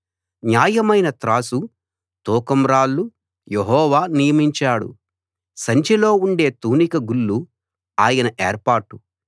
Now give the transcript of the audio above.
న్యాయమైన త్రాసు తూకం రాళ్లు యెహోవా నియమించాడు సంచిలో ఉండే తూనిక గుళ్ళు ఆయన ఏర్పాటు